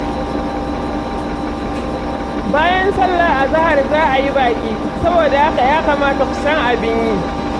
Bayan sallar azahar za a yi baƙi, saboda haka ya kamata ku san abin yi.